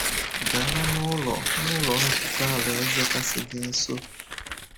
Gaa n’Ụlọ n’Ụlọ Nzukọ Alaeze kasị gị nso.